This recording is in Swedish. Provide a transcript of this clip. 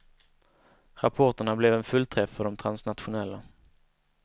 Rapporterna blev en fullträff för de transnationella.